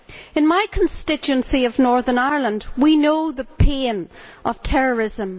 In my constituency of Northern Ireland, we know the pain of terrorism.